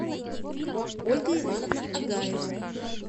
ольга ивановна агаева